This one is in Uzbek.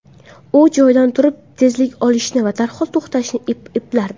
U joyidan turib tezlik olishni va darhol to‘xtashni eplardi.